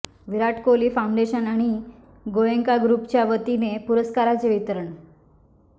विराट Kohli foundation आणि गाेयंका ग्रुपच्या वतीने पुरस्काराचे वितरण